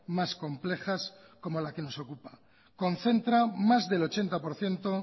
más complejas como la que nos ocupa concentra más del ochenta por ciento